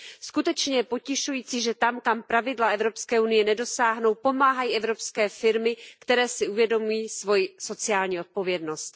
Skutečně je potěšující, že tam, kam pravidla Evropské unie nedosáhnou, pomáhají evropské firmy, které si uvědomují svoji sociální odpovědnost.